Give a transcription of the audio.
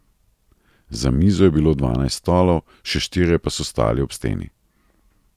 Za mizo je bilo dvanajst stolov, še štirje pa so stali ob steni.